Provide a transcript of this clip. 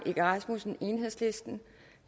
egge rasmussen